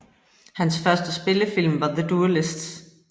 Hans første spillefilm var The Duellists